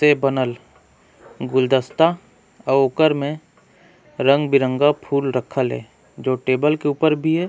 से बनल गुलदस्ता उकर में रंग-बिरंगा फूल रखल है जो टेबल के ऊपर भी है।